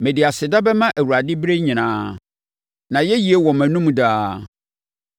Mede aseda bɛma Awurade berɛ nyinaa; nʼayɛyie wɔ mʼanom daa.